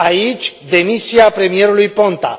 aici, demisia premierului Ponta!